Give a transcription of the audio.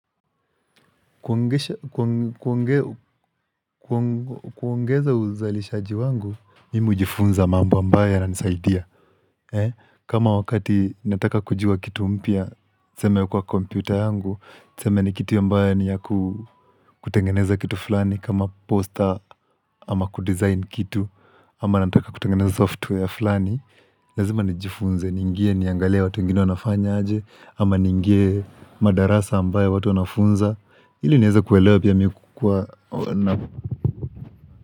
Kuongeza uzalishaji wangu Mimi hujifunza mambo ambayo yana nisaidia. Kama wakati nataka kujuwa kitu mpya niseme kwa kompyuta yangu niseme ni kitu ambayo ni ya kutengeneza kitu fulani. Kama posta ama kudesign kitu ama nataka kutengeneza software fulani. Lazima nijifunze niingie niangalie watu wengine wanafanya aje ama niingie madarasa ambayo watu wanafunza ili nieza kuelewa pia mimi kukua.